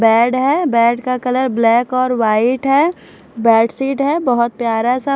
bed है bed का colour black और वाइट है बेड शीट है बोहोत प्यारा सा--